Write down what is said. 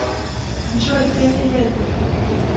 джой кэли лед